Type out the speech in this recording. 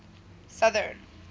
southern